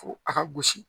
Fo a ka gosi